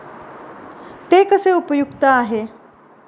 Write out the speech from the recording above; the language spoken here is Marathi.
ते कसे उपयुक्त आहे?